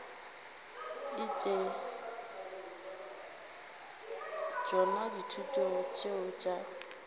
etse tšona dithuto tšeo tša